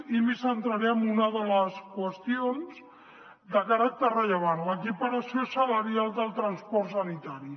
i em centraré en una de les qüestions de caràcter rellevant l’equiparació salarial del transport sanitari